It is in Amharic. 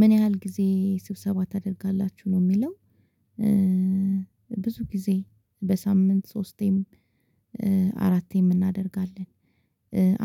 ምን ያህል ጊዜ ስብሰባ ታደርጋላችሁ? ነው የሚለው ብዙ ጊዜ በሳምንት ሶስቴም አራቴም እናደርጋለን